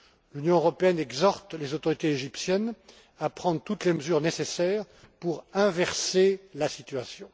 L'Union européenne exhorte les autorités égyptiennes à prendre toutes les mesures nécessaires pour inverser la situation.